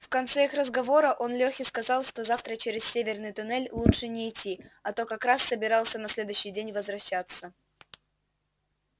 в конце их разговора он лехе сказал что завтра через северный туннель лучше не идти а тот как раз собирался на следующий день возвращаться